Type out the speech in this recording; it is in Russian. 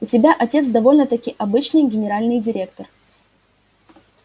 у тебя отец довольно-таки обычный генеральный директор